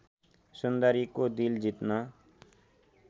सुन्दरीको दिल जित्न